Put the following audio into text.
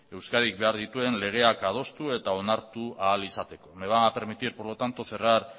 euskadik behar dituen legeak adostu eta onartu ahal izateko me va a permitir por lo tanto cerrar